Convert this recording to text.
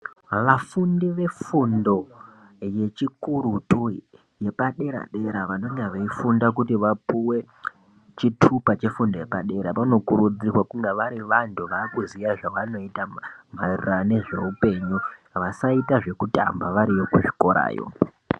Vafundo vefundo yechikurutu yepadera dera vanenge veifunda kuti vapuwe chitupa chefundo yepadera Vanokurudzirwa kunge vari vantu vakuziva zvavanoita maererano nezvehupenyu vasaita zvekutamba variyo kuchikorayo.